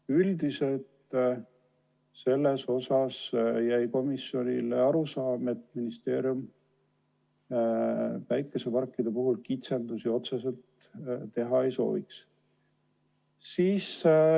Üldiselt jäi komisjonile arusaam, et ministeerium päikeseparkide puhul kitsendusi otseselt teha ei sooviks.